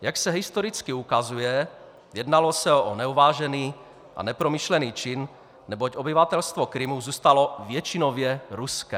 Jak se historicky ukazuje, jednalo se o neuvážený a nepromyšlený čin, neboť obyvatelstvo Krymu zůstalo většinově ruské.